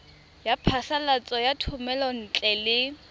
ya phasalatso ya thomelontle le